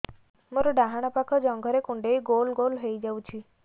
ମୋର ଡାହାଣ ପାଖ ଜଙ୍ଘରେ କୁଣ୍ଡେଇ ଗୋଲ ଗୋଲ ହେଇଯାଉଛି